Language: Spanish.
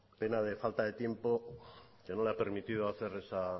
pena de falta de tiempo que no le ha permitido hacer esa